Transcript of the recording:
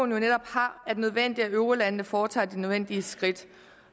netop har er det nødvendigt at eurolandene foretager de nødvendige skridt